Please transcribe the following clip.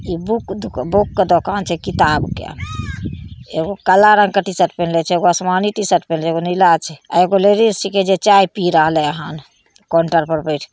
इ बुक के दुकान छै किताब के एगो काला रंग के टी-शर्ट पहिनले छै एगो आसमानी टी-शर्ट पिन्हले छै एगो नीला छै एगो लेडिज छींके जे चाय पी रहले हन काउंटर पर बैठ के ---